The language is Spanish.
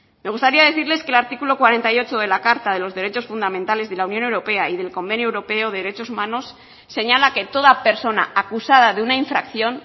me gustaría decirles que el artículo cuarenta y ocho de la carta de los derechos fundamentales de la unión europea y del convenio europeo de derechos humanos señala que toda persona acusada de una infracción